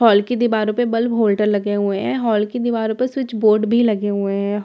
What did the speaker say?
hall की दीवारों पे बल्ब होल्डर लगे हुए हैं हॉल की दीवारों पर स्विच बोर्ड भी लगे हुए हैं हॉल में --